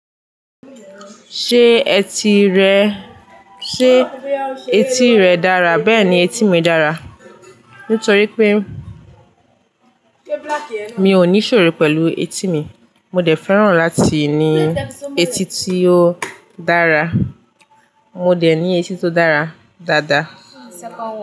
Ṣé eti rẹ, sé eti rẹ dára? Bẹ́ẹ̀ ni etí mi dára. Nítorí pé mi ò ní Ìṣòro pẹ̀lú etí mi. Mo dẹ̀ fẹ́ràn láti ní eti tí ó dára. Mo dẹ̀ ní eti tó dára dáadáa.